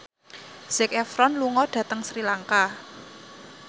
Zac Efron lunga dhateng Sri Lanka